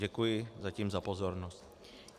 Děkuji zatím za pozornost.